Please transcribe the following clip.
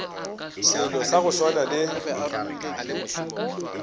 selo sa go swana le